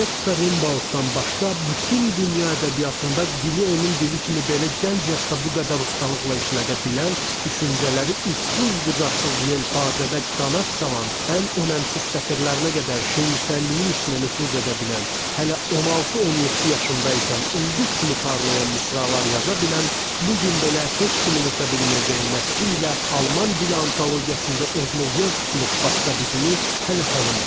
Keats və Rimboutdan başqa bütün dünya ədəbiyyatında dili onun dili kimi belə gənc yaşda bu qədər ustalıqla işlədə bilən, düşüncələri ucsuz-bucaqsız yelpazədə qanad çalan, ən önəmsiz sətirlərinə qədər şeirsəlliyin içinə nüfuz edə bilən, hələ 16-17 yaşında ikən ulduz kimi parlayan misralar yaza bilən, bu gün belə heç kimin ötə bilməyəcəyi nəsri ilə alman dili antologiyasında özünə yer tutmuş başqa birini hələ tanımıram.